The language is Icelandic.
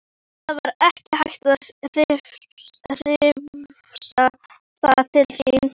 Það var ekki hægt að hrifsa það til sín.